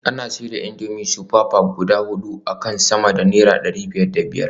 Ana siyar da indomie super pack guda hudu akan sama da naira dari biyar da biyar